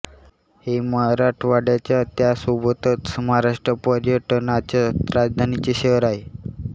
हे मराठवाड्याच्या व त्यासोबतच महाराष्ट्र पर्यटनाच्या राजधानीचे शहर आहे